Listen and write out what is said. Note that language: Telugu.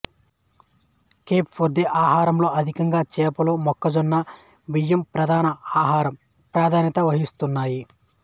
కేప్ వర్దే ఆహారంలో అధికంగా చేపలు మొక్కజొన్న బియ్యం ప్రధాన ఆహారం ప్రాధాన్యత వహిస్తున్నాయి